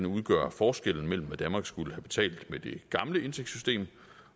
udgør forskellen mellem hvad danmark skulle have betalt med det gamle indtægtssystem